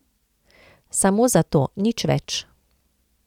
Samo za to, nič več.